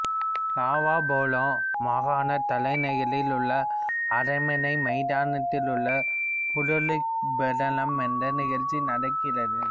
Lao பாலே மாகாண தலைநகரில் உள்ள அரண்மனை மைதானத்தில் உள்ள புரோலாக்பிரலம் என்ற நிகழ்ச்சி நடக்கிறது